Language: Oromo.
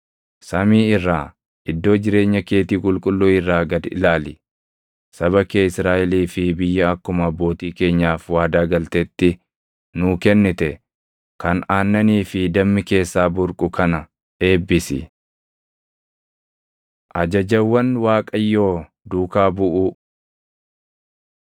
Samii irraa, iddoo jireenya keetii qulqulluu irraa gad ilaali; saba kee Israaʼelii fi biyya akkuma abbootii keenyaaf waadaa galtetti nuu kennite kan aannanii fi dammi keessaa burqu kana eebbisi.” Ajajawwan Waaqayyoo Duukaa buʼuu